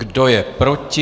Kdo je proti?